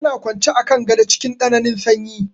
Tana kwance a kan gado cikin tsananin sanyi.